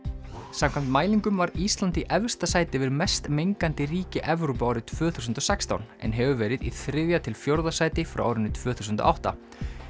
samkvæmt mælingum var Ísland í efsta sæti yfir mest mengandi ríki Evrópu árið tvö þúsund og sextán en hefur verið í þriðja til fjórða sæti frá árinu tvö þúsund og átta